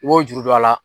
I b'o juru don a la